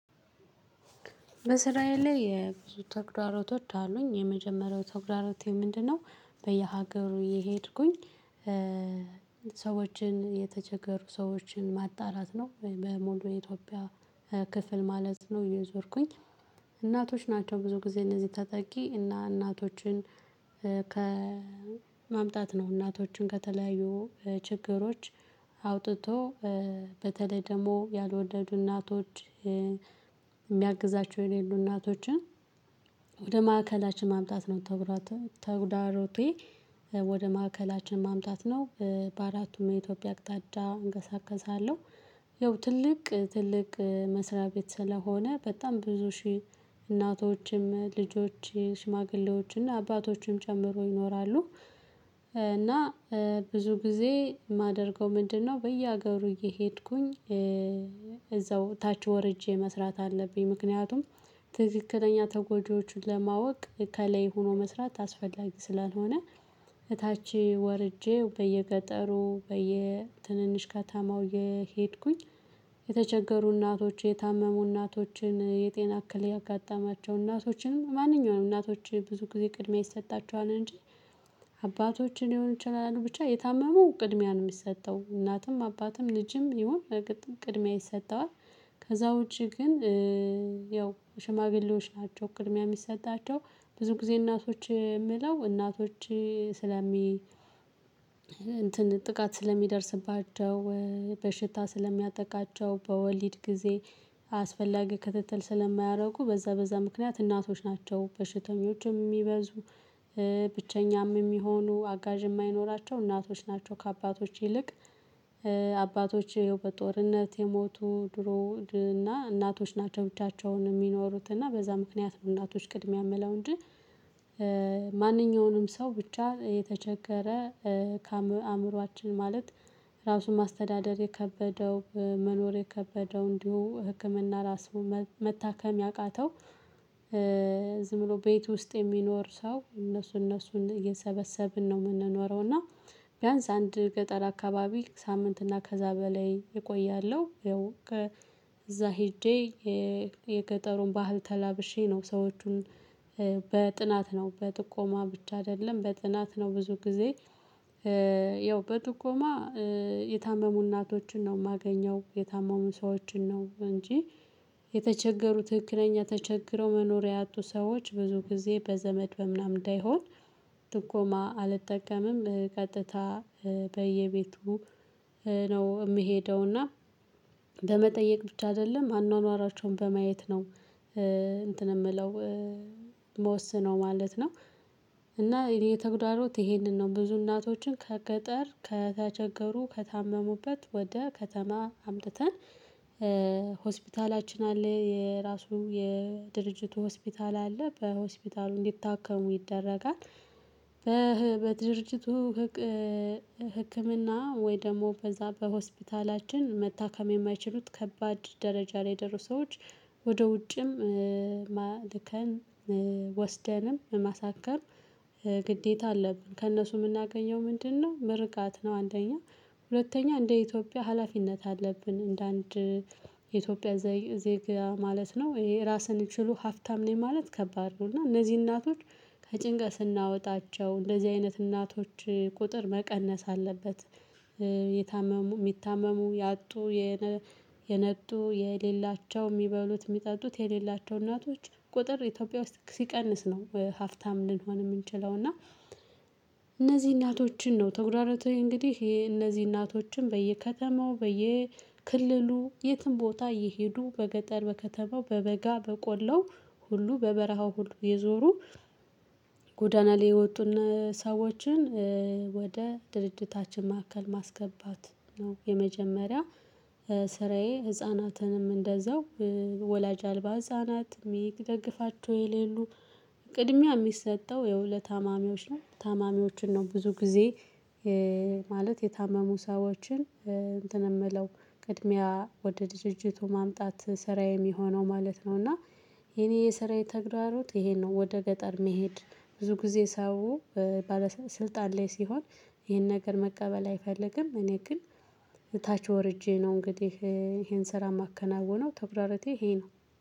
በስራዬ ላይ የብዙ ተግዳሮቶች አሉኝ የመጀመሪያው ተግዳሮቴ ምንድነው? በየሀገሩ እየሄድኩኝ ሰዎችን የተቸገሩ ሰዎችን ማጣራት ነው። የኢትዮጵያ ክፍል ማለት ነው። የዞርኩኝ እናቶች ናቸው ብዙ ጊዜ እነዚህ ተጠቂ እና እናቶችን። ከማምጣት ነው እናቶቹን ከተለያዩ ችግሮች አውጥቶ በተለይ ደግሞ ያልወለዱ እናቶች የሚያግዛቸው የኔ እናቶችን ወደ ማዕከላችን ማምጣት ነው። ተጉዳሮቴ ወደ ማዕከላችን ማምጣት ነው። በአራቱም የኢትዮጵያ አቅጣጫ እንቀሳቀሳለሁ ይኸው ትልቅ ትልቅ መስሪያ ቤት ስለሆነ በጣም ብዙ ሺህ እናቶችም ልጆች ሽማግሌዎችና አባቶችም ጨምሮ ይኖራሉ። እና ብዙ ጊዜ የማደርገው ምንድነው? በየሀገሩ እየሄድኩኝ እዛው ታች ወርጄ መስራት አለብኝ። ምክንያቱም ትክክለኛ ተጎጂዎችን ለማወቅ ከላይ ሆኖ መስራት አስፈላጊ ስላልሆነ። እታች ወርጄ በየገጠሩ በየትንንሽ ከተማው የሄድኩኝ የተቸገሩን እናቶች የታመሙ እናቶችን የጤና አክል ያጋጠማቸው እናቶችንም ማንኛውም እናቶች ብዙ ጊዜ ቅድሚያ ይሰጣቸዋል እንጂ። አባቶችን ሊሆን ይችላሉ ብቻ የታመሙ ቅድሚያ ነው የሚሰጠው እናትም አባትም ልጅም ይሁን ቅድሚያ ይሰጠዋል። ከዛ ውጪ ግን ያው ሽማግሌዎች ናቸው ቅድሚያ የሚሰጣቸው ብዙ ጊዜ እናቶች የምለው እናቶች ስለሚ እንትን ጥቃት ስለሚደርስባቸው። በሽታ ስለሚያጠቃቸው በወሊድ ጊዜ አስፈላጊ ክትትል ስለማያደርጉ በዛ በዛ ምክንያት እናቶች ናቸው በሽተኞችም የሚበዙ። ብቸኛም የሚሆኑ አጋዥ የማይኖራቸው እናቶች ናቸው ከአባቶች ይልቅ። አባቶች ይኸው በጦርነት የሞቱ ድሮ እና እናቶች ናቸው ብቻቸውን የሚኖሩት እና በዛ ምክንያት እናቶች ቅድሚያ ምለው እንጂ። ማንኛውንም ሰው ብቻ የተቸገረ ካአምሮአችን ማለት ራሱን ማስተዳደር የከበደው መኖር የከበደው እንዲሁ ህክምና ራሱ መታከም ያቃተው። ዝም ብሎ ቤት ውስጥ የሚኖር ሰው እነሱ እነሱን የሰበሰብን ነው የምንኖረው እና። ቢያንስ አንድ ገጠር አካባቢ ሳምንት እና ከዛ በላይ እቆያለሁ። ይኸው እዛ ሄጄ የገጠሩን ባህል ተላብሼ ነው ሰዎቹን በጥናት ነው በጥቆማ ብቻ አይደለም። በጥናት ነው ብዙ ጊዜ። ያው በጥቆማ የታመሙ እናቶችን ነው የማገኘው የታመሙ ሰዎችን ነው እንጂ። የተቸገሩ ትክክለኛ ተቸግረው መኖሪያ ያጡ ሰዎች ብዙ ጊዜ በዘመድ በምናምን እንዳይሆን። ጥቆማ አልጠቀምም ቀጥታ በየቤቱ ነው የምሄደው። እና በመጠየቅ ብቻ አይደለም አኗኗራቸውን በማየት ነው። እንትን የምለው ምወሰነው ማለት ነው። እና የእኔ ተግዳሮት ይሄንን ነው ብዙ እናቶችን ከገጠር ከተቸገሩ ከታመሙበት ወደ ከተማ አምጥተን። ሆስፒታላችን አለ የራሱ የድርጅቱ ሆስፒታል አለ በሆስፒታሉ እንዲታከሙ ይደረጋል። በድርጅቱ ህክምና ወይ ደግሞ በዛ በሆስፒታላችን መታከም የማይችሉት ከባድ ደረጃ ላይ የደረሱ ሰዎች። ወደ ውጭም ልከን ወስደንም ማሳከም ግዴታ አለብን። ከእነሱ የምናገኘው ምንድነው? ምርቃት ነው። አንደኛ ሁለተኛ እንደ ኢትዮጵያ ሀላፊነት አለብን። እንደ አንድ የኢትዮጵያ ዜጋ ማለት ነው። ይሄ ራስን ችሎ ሀብታም ነኝ ማለት ከባድ ነው። እና እነዚህ እናቶች ከጭንቀት ስናወጣቸው እንደዚህ አይነት እናቶች ቁጥር መቀነስ አለበት። የታመሙ የሚታመሙ ያጡ የነጡ የሌላቸው የሚበሉት የሚጠጡት የሌላቸው እናቶች ቁጥር ኢትዮጵያ ውስጥ ሲቀንስ ነው ሀፍታም ልንሆን የምንችለው እና። እነዚህ እናቶችን ነው ተጉዳሮት እንግዲህ ይሄ እነዚህ እናቶችን በየከተማው በየክልሉ የትም ቦታ እየሄዱ በገጠር በከተማው በበጋ በቆላው ሁሉ በበረሃው ሁሉ እየዞሩ ጎዳና ላይ የወጡን ሰዎችን ወደ ድርጅታችን ማዕከል ማስገባት። ነው የመጀመሪያ ስራዬ ህፃናትንም እንደዛው ወላጅ አልባ ህፃናት የሚደግፋቸው የሌሉ ቅድሚያ የሚሰጠው ይኸው ለታማሚዎች ነው። ታማሚዎችን ነው ብዙ ጊዜ ማለት የታመሙ ሰዎችን እንትን የምለው ቅድሚያ ወደ ድርጅቱ ማምጣት ስራዬ የሚሆነው ማለት ነው። እና የኔ የስራ የተግዳሮት ይሄን ነው። ወደ ገጠር መሄድ ብዙ ጊዜ ሰው ስልጣን ላይ ሲሆን ይሄን ነገር መቀበል አይፈልግም እኔ ግን ታች ወርጄ ነው እንግዲህ ይሄን ስራ የማከናውነው ተግዳሮቴ ይሄ ነው።